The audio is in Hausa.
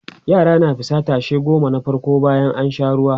yara na fita tashe goma na farko bayan an Sha ruwa